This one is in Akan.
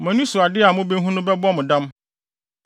Mo ani so ade a mubehu no bɛbɔ mo dam.